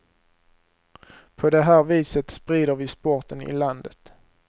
På det här viset sprider vi sporten i landet.